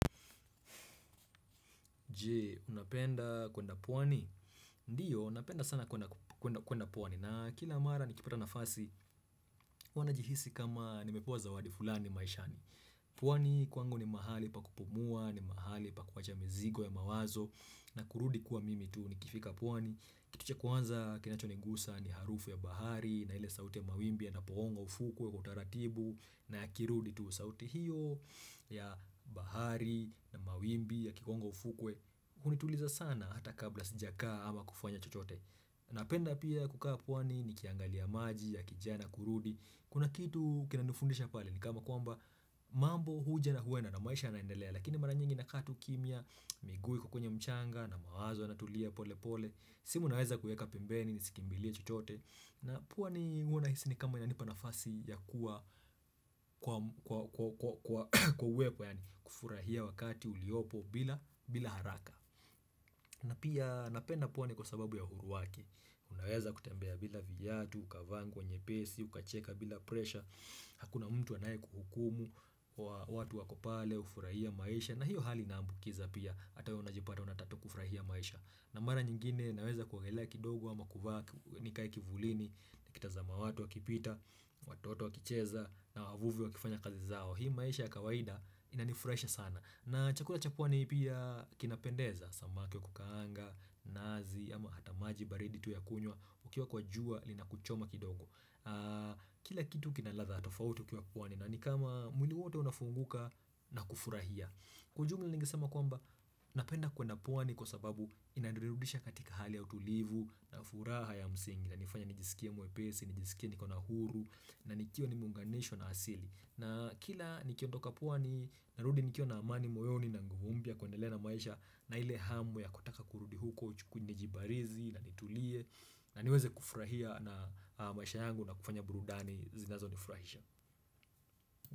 Je, unapenda kwenda pwani? Ndiyo, napenda sana kwenda pwani na kila mara nikipata nafasi huwa najihisi kama nimepewa zawadi fulani maishani. Pwani kwangu ni mahali pa kupumua, ni mahali pa kuwacha mizigo ya mawazo na kurudi kuwa mimi tu nikifika pwani. Kitu cha kwanza kinacho nigusa ni harufu ya bahari na ile sauti ya mawimbi yanapogonga ufukwe kwa taratibu na yakirudi tu sauti hiyo ya bahari na mawimbi ya kikongo ufukwe. Hunituliza sana hata kabla sijakka ama kufanya chochote Napenda pia kukaa pwani nikiangalia maji yakijaa na kurudi Kuna kitu kinanifundisha pale ni kama kwamba mambo huja na huenda na maisha yanaendelea Lakini mara nyingi nakaa tu kimya miguu iko kwenye mchanga na mawazo yanatulia polepole simu naweza kueka pembeni nisikimbilie chochote na pwani huwa nahisi ni kama yanipa nafasi ya kuwa kwawepo yaani kufurahia wakati uliopo bila haraka na pia napenda pwani kwa sababu ya huru wake, unaweza kutembea bila vyatu, ukavaa nguo nyepesi, ukacheka bila presha, hakuna mtu anayekuhukumu, watu wako pale, hufurahia maisha na hiyo hali inaambukiza pia, ata wewe unajipata unataka tu kufurahia maisha. Na mara nyingine naweza kuogelea kidogo ama kuvaa nikai kivulini nikitazama watu wakipita, watoto wakicheza na wavuvi wakifanya kazi zao Hii maisha ya kawaida inanifurahisha sana na chakula cha pwani pia kinapendeza Samaki wa kukaanga, nazi ama hata maji baridi tu ya kunywa ukiwa kwa jua linakuchoma kidogo Kila kitu kina ladha tofauti ukiwa pwani na nikama mwili wote unafunguka na kufurahia Kwa ujumla ningesema kwamba napenda kwenda pwani kwa sababu inanirudisha katika hali ya utulivu na furaha ya msingi na inanifanya nijisikie mwepesi, nijisikie nikona huru na nikiwa nimeunganishwa na asili. Na kila nikiondoka pwani narudi nikiwa na amani moyoni na nguvu mpya kuendelea na maisha na ile hamu ya kutaka kurudi huko uchukunye nijibarizi na nitulie na niweze kufurahia na maisha yangu na kufanya burudani zinazonifurahisha.